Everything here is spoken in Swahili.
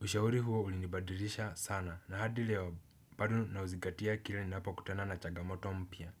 Ushauri huo ulinibadirisha sana na hadi leo bado nauzigatia kila ninapokutana na chagamoto mpya.